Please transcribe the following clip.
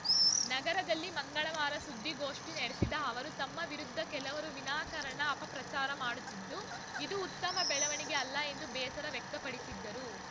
ನಗರದಲ್ಲಿ ಮಂಗಳವಾರ ಸುದ್ದಿಗೋಷ್ಠಿ ನಡೆಸಿದ ಅವರು ತಮ್ಮ ವಿರುದ್ಧ ಕೆಲವರು ವಿನಾಕಾರಣ ಅಪ ಪ್ರಚಾರ ಮಾಡುತ್ತಿದ್ದು ಇದು ಉತ್ತಮ ಬೆಳವಣಿಗೆ ಅಲ್ಲ ಎಂದು ಬೇಸರ ವ್ಯಕ್ತಪಡಿಸಿದರು